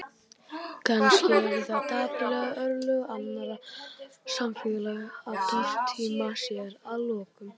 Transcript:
Kannski eru það dapurleg örlög annarra samfélaga að tortíma sér að lokum.